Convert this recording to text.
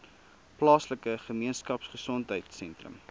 plaaslike gemeenskapgesondheid sentrum